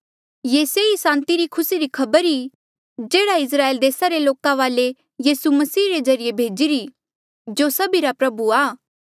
ये सेई सांति रा खुसी री खबर आ जेह्ड़ा इस्राएल देसा रे लोका वाले यीसू मसीह रे ज्रीए भेजिरा जो सभिरा प्रभु आ